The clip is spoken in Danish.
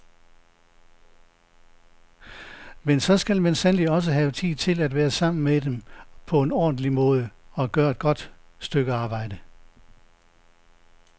Men så skal man sandelig også have tid til at være sammen med dem på en ordentlig måde, at gøre et godt stykke arbejde.